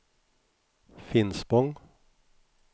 Finspång